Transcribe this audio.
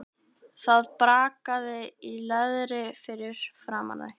Það brakaði í leðri fyrir framan þau.